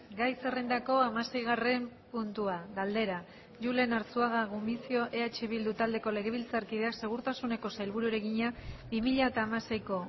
gai zerrendako hamaseigarren puntua galdera julen arzuaga gumuzio eh bildu taldeko legebiltzarkideak segurtasuneko sailburuari egina bi mila hamaseiko